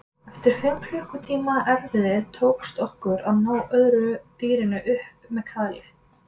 Eftir fimm klukkutíma erfiði tókst okkur að ná öðru dýrinu upp með kaðli.